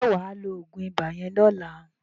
Ṣé wà á lo oògùn ibà yẹn lọ́la?